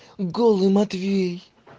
голый матвей